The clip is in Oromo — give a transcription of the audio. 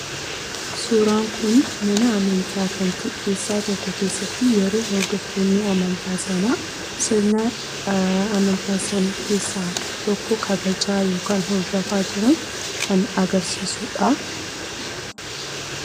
Suuraan kun mana amantaa tokko keessatti yeroo hordoftoonni isaa sirna amantaa isaanii jeessaa tokko kabajaa jiran kan agarsiisudha.